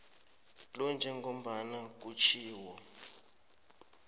lo njengombana kutjhiwo